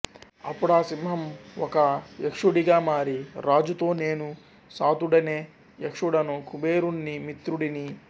అప్పుడా సింహం ఒక యక్షుడిగా మారి రాజుతో నేను సాతుడనే యక్షుడను కుబేరుణ్ణి మిత్రుడిని